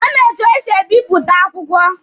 Ọ ma etu esi ebipụta akwụkwọ.